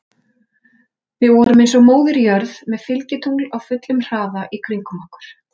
Við vorum eins og Móðir jörð með fylgitungl á fullum hraða í kringum okkur.